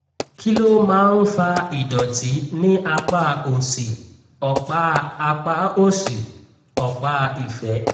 kí ló máa ń fa ìdọ̀tí ní apá òsì ọ̀pá apá òsì ọ̀pá ìfẹ́?